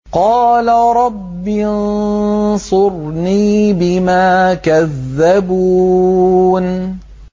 قَالَ رَبِّ انصُرْنِي بِمَا كَذَّبُونِ